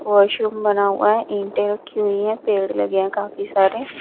washroom बना हुआ है ईंटें रखी हुई हैं पेड़ लगे हैं काफी सारे--